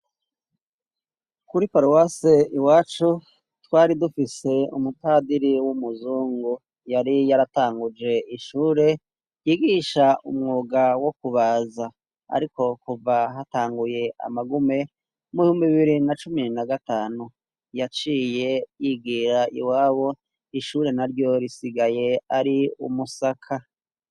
Kuri paruwase iwacu twari dufise umupadiri w'umuzungu yari yaratanguje ishure ryigisha umwuga wo kubaza. Ariko kuva hatanguye amagume mubihumbi bibiri na cumi na gatanu yaciye yigira iwabo. Ishure naryo risigaye ari umusaka.